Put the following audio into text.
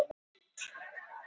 Þegjandi hás í dag.